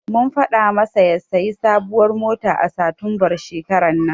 Mun faɗa masa ya sayi sabuwar mota a satumbar shekarar nan.